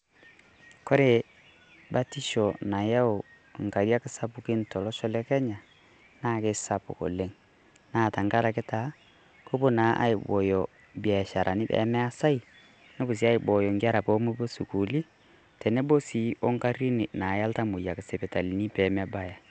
Kore batisho nayau nkariak sapukin tolosho le Kenya naa kesapuk oleng. Naa tang'araki taa kepoo aibooyo biasharani pee measai nepoo sii aibooyo nkerra poo mopoo sukuuli teneboo sii ong'arin naeya ltamoyiak sipitali pee mebaaya.